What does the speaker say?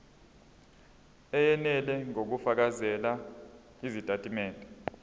eyenele ngokufakela izitatimende